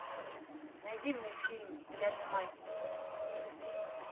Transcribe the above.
найди мне фильм я же мать